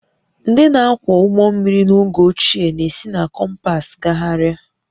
Ndị na-akwọ ụgbọ mmiri n'oge ochie na-esi na kompas gagharịa